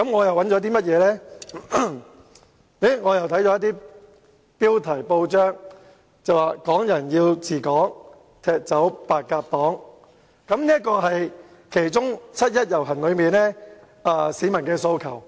我看到一些媒體報道的報章標題："港人要治港，踢走白鴿黨"，這是七一遊行的其中一個市民訴求。